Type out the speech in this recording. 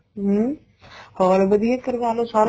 ਹਮ ਹਾਲ ਵਧੀਆ ਕਰਵਾ ਲੋ ਸਾਰੇ